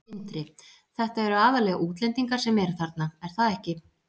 Sindri: Þetta eru aðallega útlendingar sem eru þarna, er það ekki?